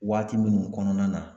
Waati minnu kɔnɔna na